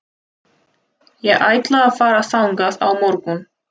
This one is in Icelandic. Ég ætla að fara þangað á morgun.